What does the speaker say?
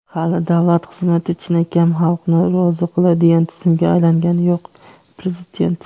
hali davlat xizmati chinakam xalqni rozi qiladigan tizimga aylangani yo‘q – Prezident.